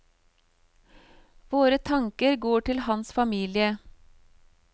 Våre tanker går til hans familie.